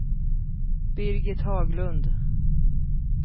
Birgit Haglund